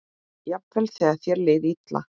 Jafnvel þegar þér leið illa.